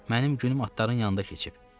Mənim günüm atların yanında keçib.